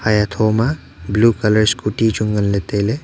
eya thoma blue colour scooty chu nganle taile.